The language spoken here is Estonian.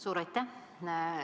Suur aitäh!